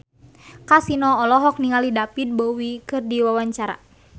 Kasino olohok ningali David Bowie keur diwawancara